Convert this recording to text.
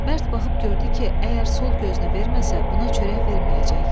Mərd baxıb gördü ki, əgər sol gözünü verməsə, buna çörək verməyəcək.